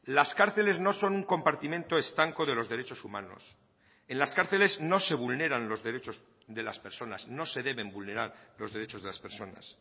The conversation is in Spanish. las cárceles no son un compartimento estanco de los derechos humanos en las cárceles no se vulneran los derechos de las personas no se deben vulnerar los derechos de las personas